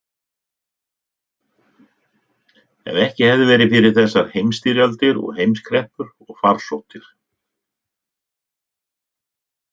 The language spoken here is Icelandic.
Ef ekki hefði verið fyrir þessar heimsstyrjaldir og heimskreppur og farsóttir.